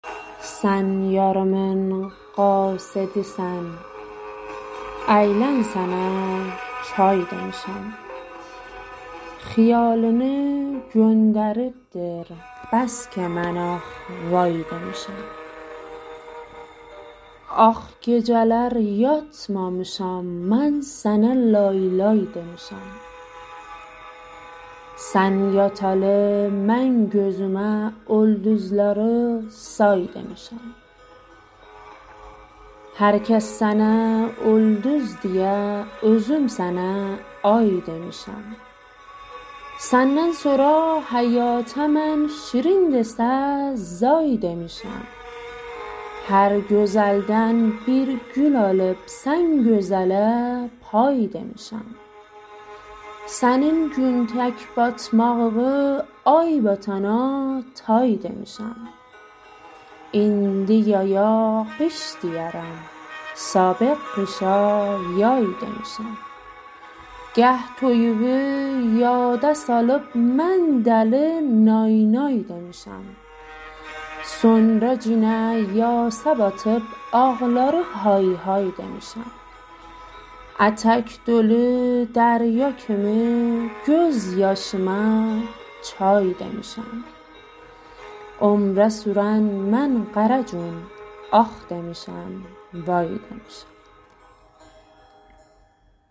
سن یاریمین قاصدی سن ایلن سنه چای دیمیشم خیالینی گوندریب دیر بسکی من آخ وای دیمیشم آخ گیجه لر یاتمامیشام من سنه لای لای دیمیشم سن یاتالی من گوزومه اولدوزلاری سای دیمیشم هر کس سنه اولدوز دییه اوزوم سنه آی دیمیشم سننن سورا حیاته من شیرین دیسه زای دیمیشم هر گوزلدن بیر گول آلیب سن گوزه له پای دیمیشم سنین گون تک باتماغیوی آی باتانا تای دیمیشم ایندی یایا قیش دیییرم سابق قیشا یای دیمیشم گاه توییوی یاده سالیب من دلی نای نای دیمیشم سونرا گینه یاسه باتیب آغلاری های های دیمیشم اتک دولی دریا کیمی گؤز یاشیما چای دیمیشم عمره سورن من قره گون آخ دیمیشم وای دیمیشم